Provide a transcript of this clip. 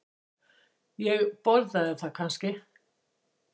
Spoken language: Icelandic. Og borðaði það kannski?